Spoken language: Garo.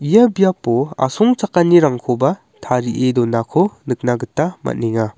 ia biapo asongchakanirangkoba tarie donako nikna gita man·enga.